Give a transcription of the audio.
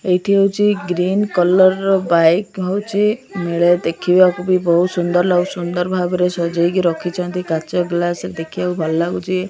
ଏଇଠି ହୋଉଚି green colour ର ବାଇକ୍ ହୋଉଚି ମିଳେ ଦେଖିବାକୁ ବି ବୋହୁତ୍ ସୁନ୍ଦର ଲାଗୁଚି ସୁନ୍ଦର ଭାବରେ ସଜେଇକି ରଖିଚନ୍ତି କାଚ ଗ୍ଲାସ୍ ରେ ଦେଖିବାକୁ ଭଲ ଲାଗୁଚି।